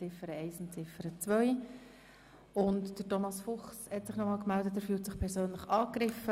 Thomas Fuchs hat sich noch einmal zu Wort gemeldet, er fühlt sich persönlich angegriffen.